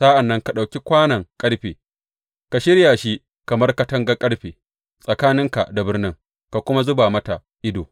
Sa’an nan ka ɗauki kwanon ƙarfe, ka shirya shi kamar katangar ƙarfe tsakaninka da birnin ka kuma zuba mata ido.